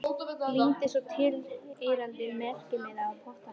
Lími svo tilheyrandi merkimiða á pottana.